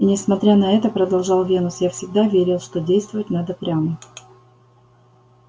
и несмотря на это продолжал венус я всегда верил что действовать надо прямо